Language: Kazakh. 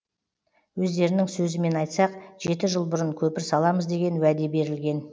өздерінің сөзімен айтсақ жеті жыл бұрын көпір саламыз деген уәде берілген